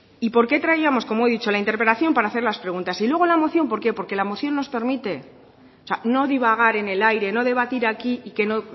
y por qué traíamos como he dicho la interpelación para hacer las preguntas y luego la moción por qué porque la moción nos permite o sea no divagar en el aire no debatir aquí y que no